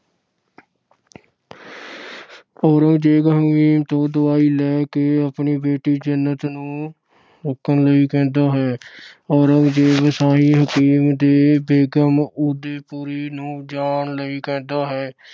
ਔਰੰਗਜ਼ੇਬ ਹਕੀਮ ਤੋਂ ਦਵਾਈ ਲੈ ਕੇ ਆਪਣੀ ਬੇਟੀ ਜੀਨਤ ਨੂੰ ਰੁੱਕਣ ਲਈ ਕਹਿੰਦਾ ਹੈ। ਔਰੰਗਜ਼ੇਬ ਸ਼ਾਹੀ ਹਕੀਮ ਅਤੇ ਬੇਗਮ ਉਦੈਪੁਰੀ ਨੂੰ ਜਾਣ ਲਈ ਕਹਿੰਦਾ ਹੈ।